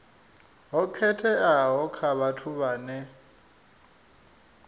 ho khetheaho kha vhathu vhane